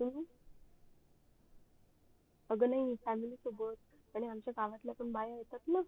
अं अग नाही family सोबत आणि आमच्या गावातल्या पण बाया येतात ना